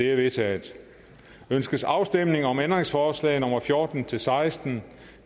er vedtaget ønskes afstemning om ændringsforslag nummer fjorten til seksten